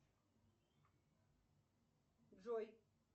джой